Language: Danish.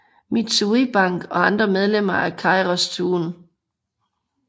Mitsui Bank og andre medlemmer af keiretsuen